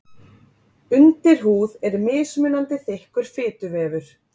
Undirhúð er mismunandi þykkur fituvefur.